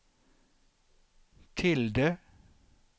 tilde